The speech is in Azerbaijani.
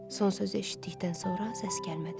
Son sözü eşitdikdən sonra səs gəlmədi.